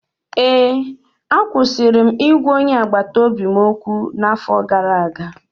Ee, akwụsịrị m ịgwa onye agbata obi m okwu n’afọ gara aga